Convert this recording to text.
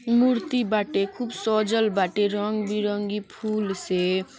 मूर्ति बाटे खूब सजल बाटे रंग बिरंगी फूल से --